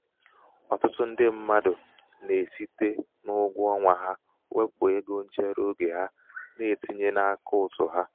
ọtụtụ ndị mmadụ na-esite n'ụgwọ ọnwa ha wepụ égo nchereoge ha na-etinye n'akaụtụ ha.